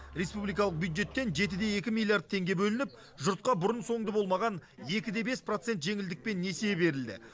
республикалық бюджеттен жеті де екі миллиард теңге бөлініп жұртқа бұрын соңды болмаған екі де бес процент жеңілдікпен несие берілді